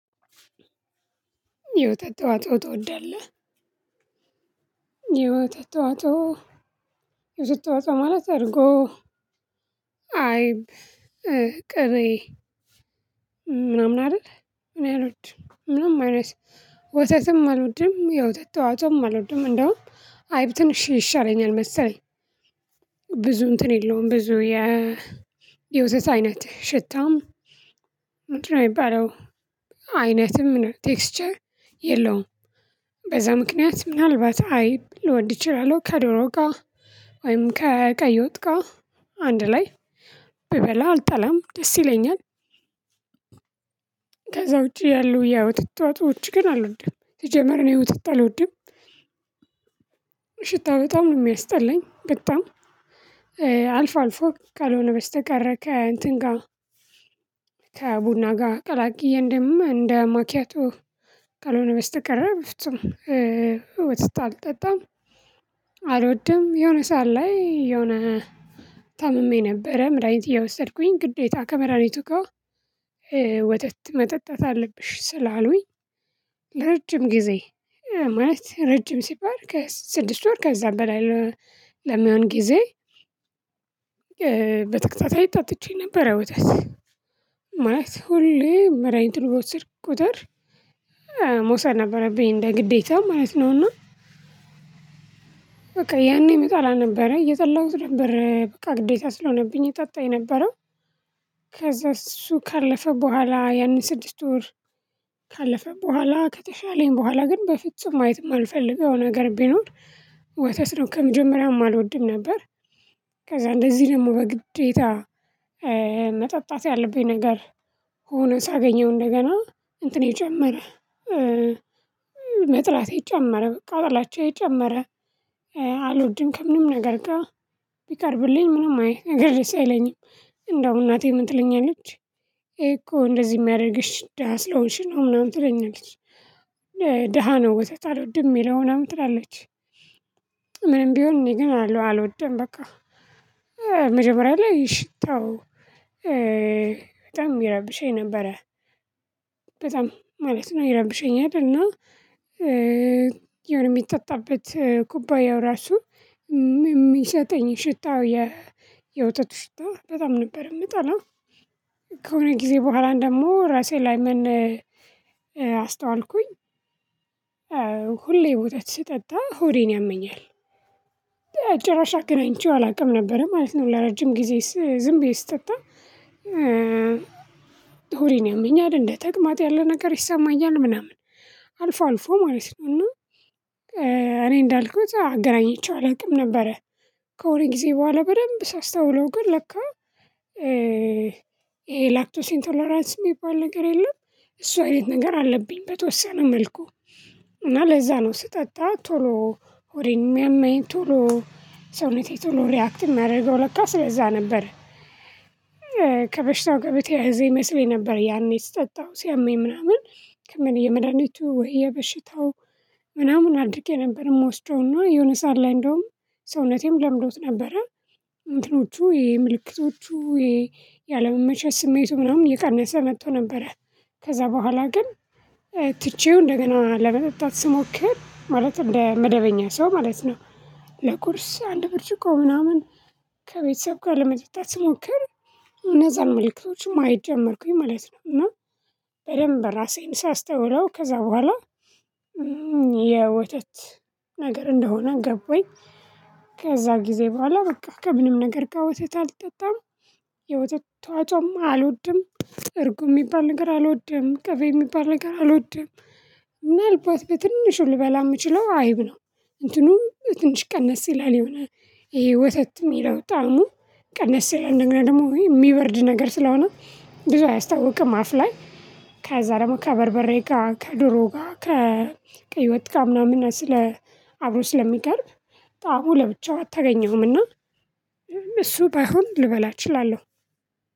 የወተት ተዋጸኦ ትወዳለህ? የወተት ተዋጽኦ ማለት እርጎ አይብ ቅቤ ምናምን አይደል እኔ አልወድም ምንም አይነት ወተትም አልወድም የውተት ተዋጽኦም አልወድም እንደውም አይብ ትንሽ ይሻለኛል መሰለኝ ብዙ እንትን የለውም ብዙ የውተት አይነት ሽታም ምንድነው የሚባለው አይነትም ቴክስቸር የለውም በዛ ምክንያት ምናልባት አይብ ልወድ እችላለሁ ከዶሮ ጋር ወይም ከቀይ ወጥ ጋር አንድ ላይ ብበላ አልጠላም ደስ ይለኛል ከዛ ውጪ ያሉ የወተት ተዋጽኦች ግን አልወድም ሲጀመር እኔ ወተት አልወድም ሽታው በጣም ነው የሚያስጠላኝ በጣም አልፎ አልፎ ካልሆነ በስተቀር ከእንትን ጋር ከቡና ጋር ቀላቅዬ እንደ ማኪያቶ ካልሆነ በስተቀረ በፍጹም ወተታ አልጠጣም አልወድም የሆነ ሰዓት ላይ የሆነ ታምሜ ነበረ መድሃኒት እየወሰድኩኝ ግዴታ ከመድሃኒቱ ጋር ወተት መጠጣት አለብሽ ስላሉኝ ለረጅም ጊዜ ማለት ረጅም ሲባል ከስድስት ወር ከዛ በላይ ለሚሆን ጊዜ በተከታታይ ጠጥቼ ነበር ወተት ማለት ሁሌ መድሃኒቱን በወሰድኩ ቁጥር መውሰድ ነበረብኝ እንደ ግዴታ ማለት ነውና በቃ ያኔም እጠላ ነበረ እየጠላሁት ነበረ በቃ ግዴታ ስለሆነብኝ እጠጣ የነበረው ከዛ እሱ ካለፈ በኋላ ያንን ስድስት ወር ካለፈ በኋላ ከተሻለኝ በኋላ ግን በፍጹም ማየት የማልፈልገው ነገር ቢኖር ወተት ነው ከመጀመሪያውም አልወድም ነበር ከዛ እንደዚህ ደግሞ በግዴታ መጠጣት ያለብኝ ነገር ሆኖ ሳገኘው እንደገና እንትኔ ጨመረ መጥላቴ ጨመረ በቃ ጥላቻዬ ጨመረ አልወድም ከምንም ነገር ጋር ቢቀርብልኝ ምንም አይነት ነገር ደስ አይለኝም እንደው እናቴ ምን ትለኛለች ይሄ እኮ እንደዚህ የሚያደርግሽ ደሃ ስለሆንሽ ነው ምናምን ትለኛለች ደሃ ነው ወተት አልወድም የሚለውን ምናምን ትላለች ምንም ቢሆን እኔ ግን አልወደም በቃ መጀመሪያ ላይ ሽታው በጣም ይረብሸኝ ነበረ በጣም ማለት ነው ይረብሸኝ ነበር እና የሆነ የሚጠጣበት ኩባያው ራሱ የሚሰጠኝ ሽታው የውተቱ ሽታ በጣም ነበር የምጠላው ከሆነ ጊዜ በኋላ እንደሞ ራሴ ላይ ምን አስተዋልኩኝ ሁሌ ወተት ስጠጣ ሆዴን ያመኛል ጭራሽ አገናኝቼው አላውቅም ነበር ማለት ነው ለረጅም ጊዜ ዝም ብዬ ስጠጣ ሆዴን ያመኛል እንደ ተቅማጥ ያለ ነገር ይሰማኛል ምናምን አልፎ አልፎ ማለት ነው እና እኔ እንዳልኩት አገናኝቼው አላውቅም ነበረ ከሆነ ጊዜ በኋላ በደንብ ሳስታውለው ግን ለካ ይሄ ላክቶሲን ቶለራንስ የሚባል ነገር የለም እሱ አይነት ነገር አለብኝ በተወሰነ መልኩ እና ለዛ ነው ስጠጣ ቶሎ ሆዴን የሚያመኝ ቶሎ ሰውነቴ ቶሎ ሪአክት የሚያደርገው ለካስ ለዛ ነበር ከበሽታው በተያዘ ይመስለኝ ነበር ያኔ ስጠጣው ሲያመኝ ምናምን የመድሃኒቱ ወይ በሽታው ምናምን አድርጌ ነበር የምወስደውና የሆነ ሰዓት ላይ እንደውም ሰውነቴም ለምዶት ነበረ እንትኖቹ የምልክቶቹ ያለመመቸት ስሜቱ ምናምን የቀነሰ መጥቶ ነበረ ከዛ በኋላ ግን ትቼው እንደገና ለመጠጣት ስሞክር ማለት እንደ መደበኛ ሰው ማለት ነው ለቁርስ አንድ ብርጭቆ ምናምን ከቤተሰብ ጋር ለመጠጣት ስሞክር እነዛን መልእክቶች ማየት ጀመርኩኝ ማለት ነው እና በደንብ ራሴን ሳስተውለው ከዛ በኋላ የወተት ነገር እንደሆነ ገባኝ ከዛ ጊዜ በኋላ በቃ ከምንም ነገር ጋር ወተት አልጠጣም የወተት ተዋጽኦም አልወድም እርጎ የሚባል ነገር አልወደም ቀቤ የሚባል ነገር አልወደም ምናልባት በትንሹ ልበላ የምችለው አይብ ነው እንትኑም ትንሽ ቀነስ ይላል ይሆናል ይሄ ወተት የሚለው ጠዓሙ ቀነስ ይላል እንደገና ደግሞ ወይ የሚበርድ ነገር ስለሆነ ብዙ አያስታውቅም አፍ ላይ ከዛ ደግሞ ከበርበሬ ጋር ከዶሮ ጋር ከቀይ ወጥ ጋር ምናምን አብሮ ስለሚቀርብ ጠዓሙ ለብቻው አታገኘውምና እሱ ባይሆን ልበላ እችላለሁ